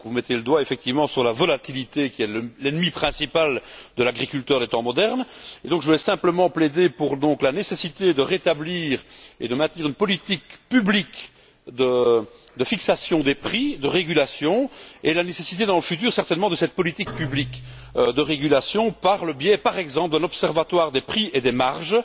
Vous mettez effectivement le doigt sur la volatilité, qui est l'ennemi principal de l'agriculteur des temps modernes, et je voudrais simplement plaider pour la nécessité de rétablir et de maintenir une politique publique de fixation des prix, de régulation, et pour la nécessité, dans le futur certainement, de cette politique publique de régulation par le biais, par exemple, d'un observatoire des prix et des marges,